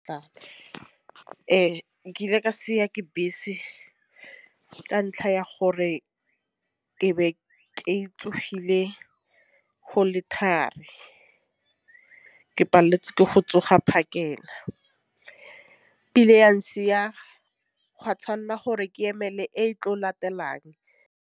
Ee, nkile ka siwa ke bese ka ntlha ya gore ke be ketsogile go le ke palletswe ke go tsoga phakela ile ya ntšhiya gwa tšhwanela gore ke emele e tlo latelang.